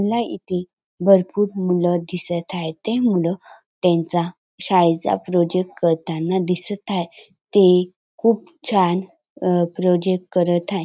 मला इथे भरपूर मुल दिसत आहेत ते मुल त्यांचा शाळेचा प्रोजेक्ट करताना दिसत हाय ते खूप छान अ प्रोजेक्ट करत हाय.